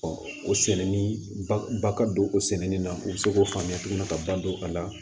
o sɛnɛni ba ka don o sɛnɛni na u be se k'o faamuya tuguni ka ba don a la